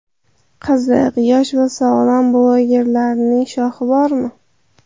Qiziq, yosh va sog‘lom blogerlarning shoxi bormi?